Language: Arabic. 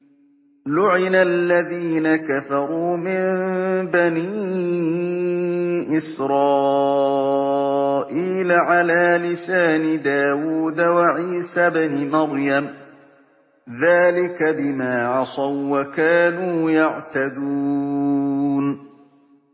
لُعِنَ الَّذِينَ كَفَرُوا مِن بَنِي إِسْرَائِيلَ عَلَىٰ لِسَانِ دَاوُودَ وَعِيسَى ابْنِ مَرْيَمَ ۚ ذَٰلِكَ بِمَا عَصَوا وَّكَانُوا يَعْتَدُونَ